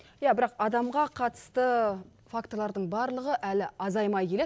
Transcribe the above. иә бірақ адамға қатысты факторлардың барлығы әлі азаймай келеді